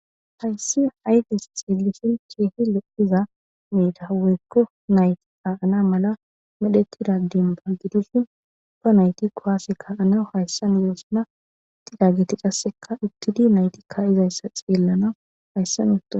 hayssi haygens xeelishin keehi lo7iza meida weykko nayti aana mala medheti ragdim baggidushin ba nayti kowaaseka anaw hayssan yoosuna tidageti qasseka uttidi naytikka izayssa xeellana hayssan utto